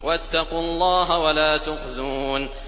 وَاتَّقُوا اللَّهَ وَلَا تُخْزُونِ